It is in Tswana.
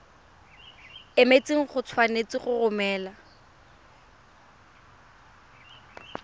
emetseng o tshwanetse go romela